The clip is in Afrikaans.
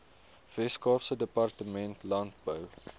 weskaapse departement landbou